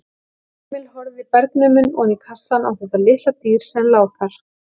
Emil horfði bergnuminn oní kassann á þetta litla dýr sem lá þar.